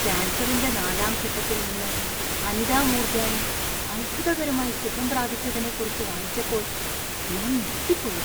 കാൻസറിന്‍റെ നാലാം ഘട്ടത്തിൽ നിന്ന് അനിത മൂർജാനി അത്ഭുതകരമായി സുഖം പ്രാപിച്ചതിനെക്കുറിച്ച് വായിച്ചപ്പോൾ ഞാൻ ഞെട്ടിപ്പോയി.